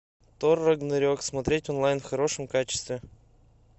тор рагнарек смотреть онлайн в хорошем качестве